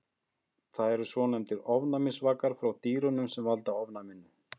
Það eru svonefndir ofnæmisvakar frá dýrunum sem valda ofnæminu.